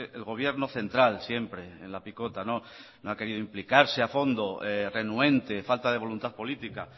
el gobierno central siempre en la picota no ha querido implicarse a fondo renuente falta de voluntad política